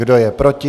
Kdo je proti?